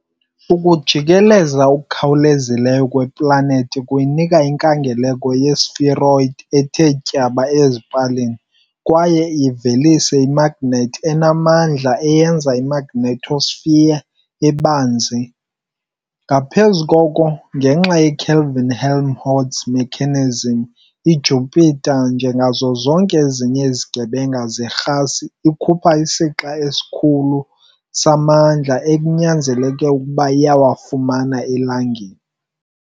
Ukujikeleza okukhawulezileyo kweplanethi kuyinika inkangeleko yespheroid ethe tyaba ezipalini kwaye ivelise imagnethi emandla eyenza i- magnetosphere ebanzi, ngaphezu koko, ngenxa ye- Kelvin-Helmholtz mechanism, iJupiter, njengazo zonke ezinye izigebenga zerhasi, ikhupha isixa esikhulu samandla kunokuba iwafumana eLangeni